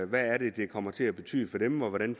hvad det er det kommer til at betyde for dem og hvordan